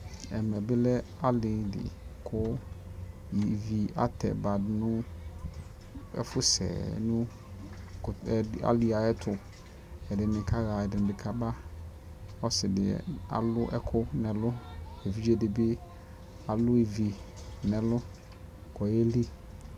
ɛmɛ bi lɛ alili kʋ ivi atabadʋnʋ ɛƒʋ sɛ nʋ ɛkʋtɛ aliɛ ayɛtʋ, ɛdini kaha ɛdibi kaba, ɔsii di alʋ ɛkʋ nʋ ɛlʋ, ɛvidzɛ dibialʋ ivi nʋ ɛlʋ kʋ ɔyɛli